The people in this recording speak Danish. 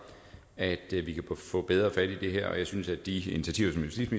at vi kan få bedre fat i det her jeg synes at de initiativer